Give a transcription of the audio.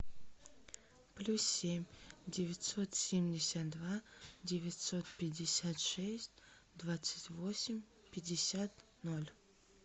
плюс семь девятьсот семьдесят два девятьсот пятьдесят шесть двадцать восемь пятьдесят ноль